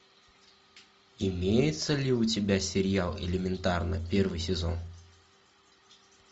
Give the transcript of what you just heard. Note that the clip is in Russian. имеется ли у тебя сериал элементарно первый сезон